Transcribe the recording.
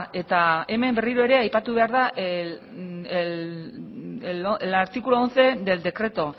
eta hemen berriro ere aipatu behar da el artículo once del decreto